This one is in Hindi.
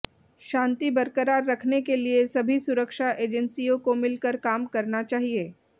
शांति बरकरार रखने के लिए सभी सुरक्षा एजेंसियों को मिलकर काम करना चाहिए